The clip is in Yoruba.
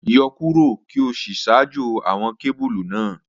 Yọ kuro ki o si ṣajọ awọn kebulu naa